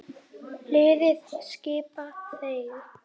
Liðið skipa þeir